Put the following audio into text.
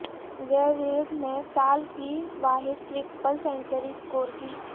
جے وردھنے نے سال کی واحد ٹرپل سنچری سکور کی